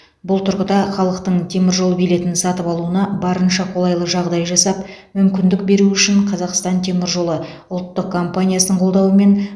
бұл тұрғыда халықтың теміржол билетін сатып алуына барынша қолайлы жағдай жасап мүмкіндік беру үшін қазақстан темір жолы ұлттық компаниясының қолдауымен